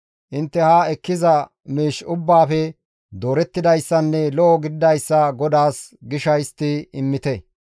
Intte ha ekkiza miish ubbaafe doorettidayssanne lo7o gididayssa GODAAS gisha histti immite.